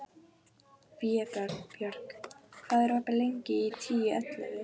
Vébjörg, hvað er opið lengi í Tíu ellefu?